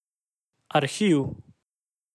Arhiv.